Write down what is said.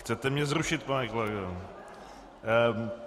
Chcete mě zrušit, pane kolego.